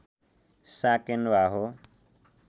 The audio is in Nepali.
साकेन्वा हो